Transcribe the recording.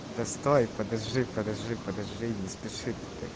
да стой подожди подожди подожди не спеши